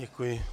Děkuji.